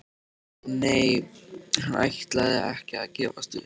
Nei, hann ætlaði ekki að gefast upp.